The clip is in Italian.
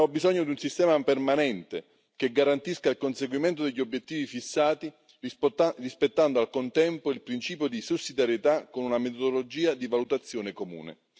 Abbiamo bisogno di un sistema permanente che garantisca il conseguimento degli obiettivi fissati rispettando al contempo il principio di sussidiarietà con una metodologia di valutazione comune.